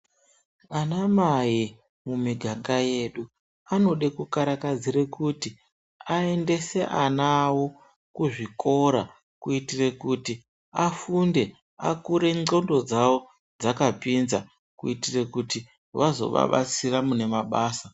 Anamai mumiganga yedu, anode kukarakadzire kuti ayendese anawo kuzvikora, kuyitire kuti afunde, akure ndxondo dzawo dzakapinza, kuyitire kuti vazovabatsira munemabasa.